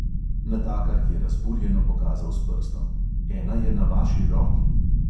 Natakar je razburjeno pokazal s prstom: "ena je na vaši roki ..."